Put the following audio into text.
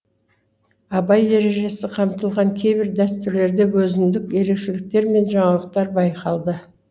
абай ережесі қамтыған кейбір дәстүрлерде өзіндік ерекшеліктер мен жаңалықтар байқалды